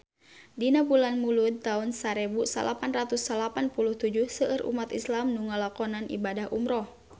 Dina bulan Mulud taun sarebu salapan ratus salapan puluh tujuh seueur umat islam nu ngalakonan ibadah umrah